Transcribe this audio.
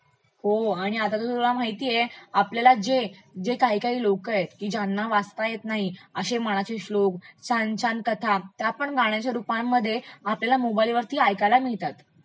हो, आता तर तुला माहितेय आपल्याला जे काही काही लोक आहेत की ज्यांनी वाचता येत नाही अश्ये मनाते श्लेक, छान छान कथा त्यापण गाण्यच्या रुपामध्ये आपल्याला मोबाइलवरती ऐकायला मिळतात